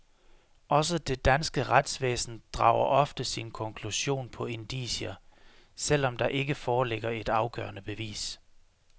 Også det danske retsvæsen drager ofte sin konklusion på indicier, selv om der ikke foreligger et afgørende bevis.